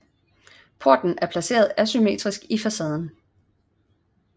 Porten er placeret asymmetrisk i facaden